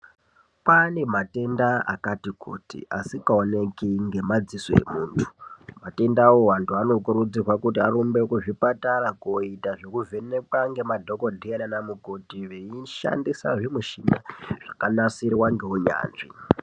Kwane matenda akati kuti asingaoneki ngemadziso emuntu matendawo antu anokurudzirwa kuti arumbe kuzvipatara kooita zvekuvhenekwa ndiana mukoti eishandisa zvimichina zvakanasirwa ngeunyanzvi.